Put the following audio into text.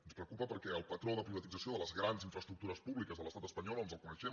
ens preocupa perquè el patró de privatització de les grans infraestructures públiques de l’estat espanyol ens el coneixem